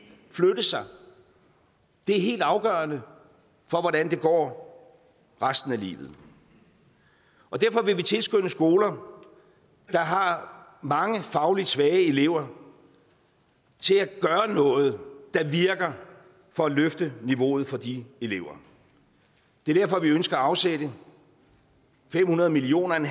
flytte sig det er helt afgørende for hvordan det går resten af livet derfor vil vi tilskynde skoler der har mange fagligt svage elever til at gøre noget der virker for at løfte niveauet for de elever det er derfor vi ønsker at afsætte fem hundrede million